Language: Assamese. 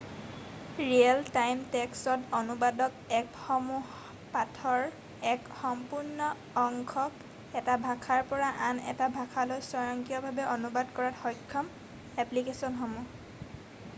ৰিয়েল টাইম টেক্সট অনুবাদক এপসমূহ পাঠৰ এক সম্পূৰ্ণ অংশক এটা ভাষাৰ পৰা আন এটা ভাষালৈ স্বয়ংক্ৰিয়ভাৱে অনুবাদ কৰাত সক্ষম এপ্লিকেছনসমূহ